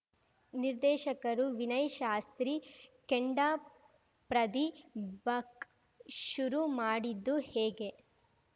ನಿರ್ದೇಶಕರು ವಿನಯ್‌ ಶಾಸ್ತ್ರಿ ಕೆಂಡಪ್ರದಿ ಬಕ್ ಶುರು ಮಾಡಿದ್ದು ಹೇಗೆ